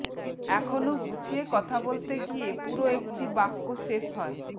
এখনও গুছিয়ে কথা বলতে গিয়ে পুরো একটি বাক্য শেষ হয়